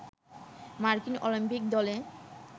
মার্কিন অলিম্পিক দলে